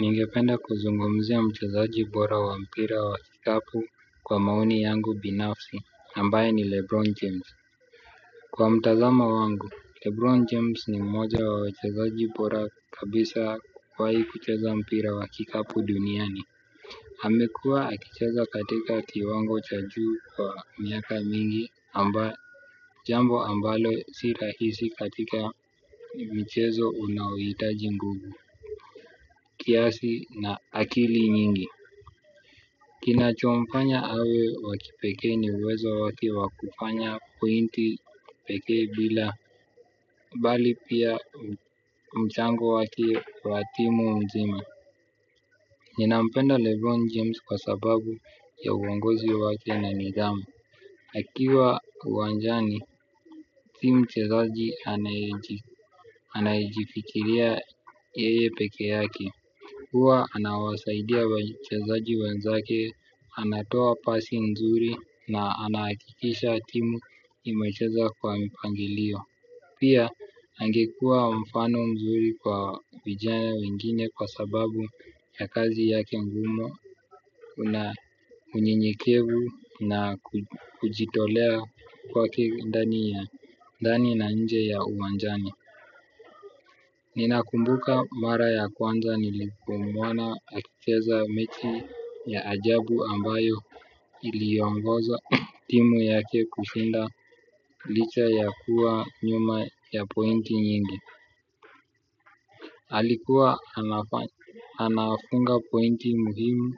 Ningependa kuzungumzia mchezaji bora wa mpira wa kikapu kwa maoni yangu binafsi ambaye ni lebron james kwa mtazamo wangu lebron james ni mmoja wa wachezaji bora kabisa kuwahi kucheza mpira wa kikapu duniani amekua akicheza katika kiwango cha juu kwa miaka mingi amba jambo ambalo si rahisi katika mchezo unaohitaji nguvu kiasi na akili nyingi. Kinachomfanya awe wakipekee ni uwezo wake wakufanya pointi peke bila bali pia mchango wake wa timu mzima. Ninampenda Lebron James kwa sababu ya uongozi wake na nidhamu. Akiwa uwanjani, sii mchezaji anayejifikiria yeye pekee yake. Huwa anawasaidia wachezaji wanzake, anatoa pasi mzuri na anahakikisha timu imecheza kwa mpangilio. Pia, angekua mfano mzuri kwa vijana wengine kwa sababu ya kazi yake ngumu una unyenyekevu na kujitolea kwake ndani na nje ya uwanjani. Ninakumbuka mara ya kwanza nilipomuona akicheza mechi ya ajabu ambayo iliongoza timu yake kushinda licha ya kuwa nyuma ya pointi nyingi alikuwa anafunga pointi muhimu.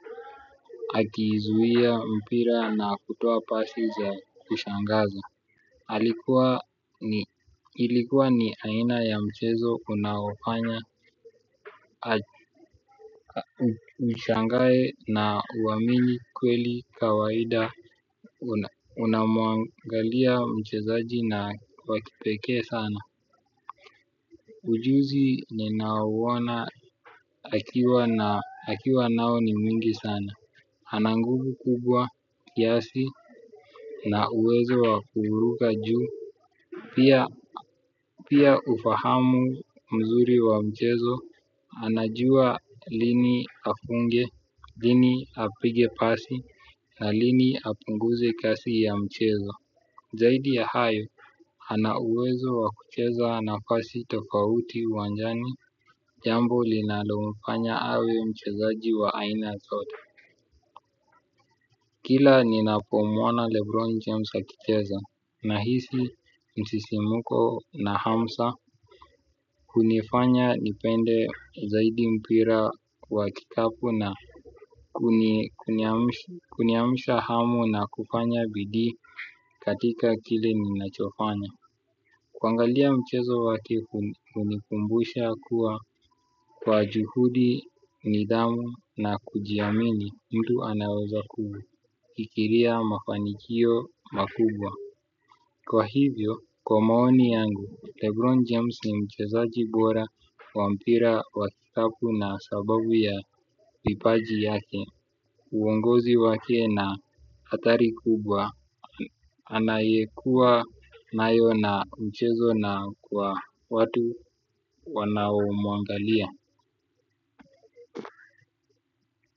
Akizuia mpira na kutoa pasi za kushangaza alikua ni ilikua ni aina ya mchezo unaofanya. Mshangae na uamini kweli kawaida. Unamuangalia mchezaji na wakipekee sana. Ujuzi ninauona akiwa nao ni mwingi sana ana nguvu kubwa kiasi na uwezo wa kuruka juu pia pia ufahamu mzuri wa mchezo anajua lini afunge lini apige pasi na lini apunguze kasi ya mchezo zaidi ya hayo ana uwezo wa kucheza nafasi tofauti uwanjani jambo linalomfanya awe mchezaji wa aina zote. Kila ninapomuona lebron James akicheza nahisi msisimko na hamsa hunifanya nipende zaidi mpira wa kikapu na kuni kuniamsha hamu na kufanya bidii katika kile ninachofanya kuangalia mchezo wake hunikumbusha kuwa kwa juhudi, nidhamu na kujiamini mtu anaweza kufikiria mafanikio makubwa. Kwa hivyo, kwa maoni yangu, Lebron James ni mchezaji bora wa mpira wa kikapu na sababu ya kipaji yake. Uongozi wake na hadhari kubwa anayekua nayo na mchezo na kwa watu wanao mwangalia.